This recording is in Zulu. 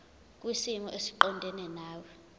kwisimo esiqondena nawe